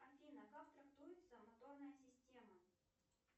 афина как трактуется моторная система